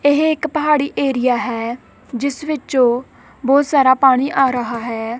ਇਹ ਇੱਕ ਪਹਾੜੀ ਏਰੀਆ ਹੈ ਜਿੱਸ ਵਿਚੋਂ ਬਹੁਤ ਸਾਰਾ ਪਾਣੀ ਆ ਰਿਹਾ ਹੈ।